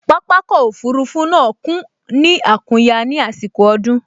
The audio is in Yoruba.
Pápákọ̀ òfurufú náà kún ní àkúnya ní àsìkò ọdún